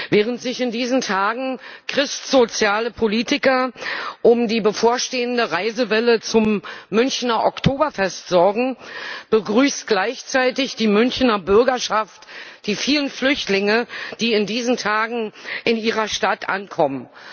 Während sich in diesen Tagen christsoziale Politiker um die bevorstehende Reisewelle zum Münchener Oktoberfest sorgen, begrüßt gleichzeitig die Münchener Bürgerschaft die vielen Flüchtlinge, die in diesen Tagen in ihrer Stadt ankommen.